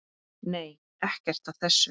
Nei, ekkert af þessu.